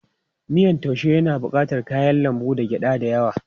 Miyan taaushe yana bukatar kayan lambu da gyada da yawa.